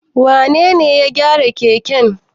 Wane ne ya gyara keken?